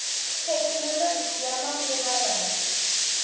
thekinoloji ya ya manguva lawa